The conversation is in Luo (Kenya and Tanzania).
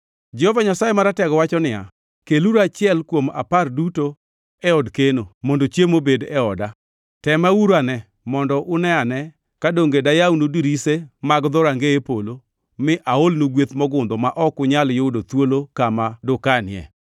Jehova Nyasaye Maratego wacho niya, “Keluru achiel kuom apar duto e od keno, mondo chiemo obed e oda. Tema uruane mondo une-ane ka donge dayawnu dirise mag dhorangeye polo mi aolnu gweth mogundho ma ok unyal yudo thuolo kama dukanie.